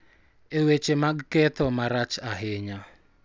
E weche mag ketho marach ahinya,